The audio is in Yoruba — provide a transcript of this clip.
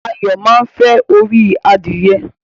Ayo máa nfẹ orí adìye.